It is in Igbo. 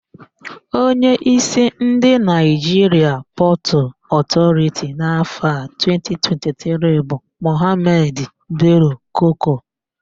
Onyeísí ndị Naịjiria Pọtụ Ọtọriti n'áfọ̀ a 2023 bụ Mọhamedị Belo-Koko.